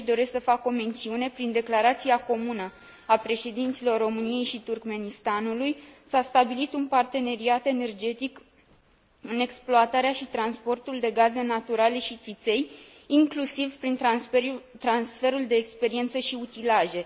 Și aici doresc să fac o mențiune prin declarația comună a președinților României și Turkmenistanului, s a stabilit un parteneriat energetic în exploatarea și transportul de gaze naturale și țiței, inclusiv prin transferul de experiență și utilaje.